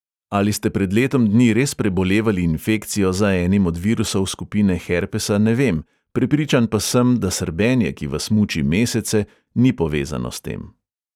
Ali ste pred letom dni res prebolevali infekcijo za enim od virusov skupine herpesa, ne vem, prepričan pa sem, da srbenje, ki vas muči mesece, ni povezano s tem.